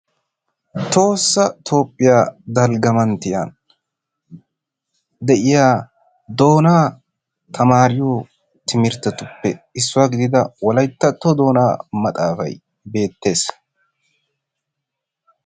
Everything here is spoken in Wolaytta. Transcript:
Tohossa Toophphiya dalgga manttiya de'iya doonaa tammaariyo timirttetuppe issuwa gidida wolayttatto doonaa maxaafay bettees.